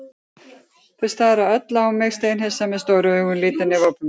Þau stara öll á mig steinhissa, með stór augu, lítil nef og opna munna.